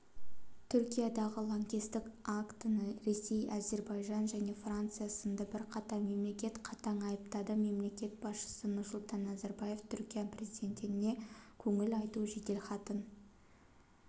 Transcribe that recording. түркиядағы лаңкестік актіні ресей әзірбайжан және франция сынды бірқатар мемлекет қатаң айыптады мемлекет басшысы нұрсұлтан назарбаев түркия президентіне көңіл айту жеделхатын